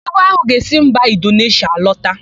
Ibu áhụ̀ ga-esi mba Indoneshịa alọta.